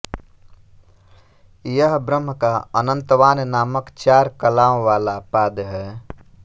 यह ब्रह्म का अनन्तवान नामक चार कलाओं वाला पाद है